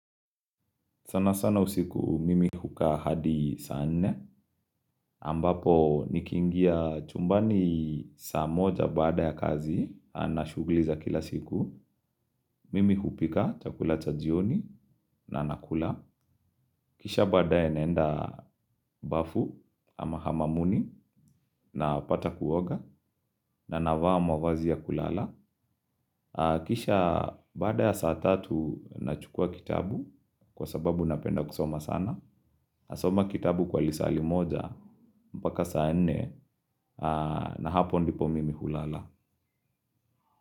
Sanasana usiku mimi hukaa hadi saa nne, ambapo nikiingia chumbani saa moja baada ya kazi, na shughuli za kila siku, mimi hupika chakula cha jioni na nakula, kisha baade naenda bafu ama hamamuni napata kuoga na navaa mavazi ya kulala. Kisha baada ya saa tatu nachukua kitabu. Kwa sababu napenda kusoma sana nasoma kitabu kwa lisaa limoja mpaka saa nne. Na hapo ndipo mimi hulala.